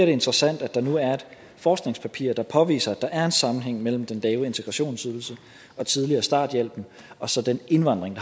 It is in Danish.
det interessant at der nu er et forskningspapir der påviser at der er en sammenhæng mellem den lave integrationsydelse og tidligere starthjælpen og så den indvandring